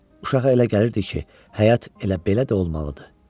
Uşağa elə gəlirdi ki, həyat elə belə də olmalıdır.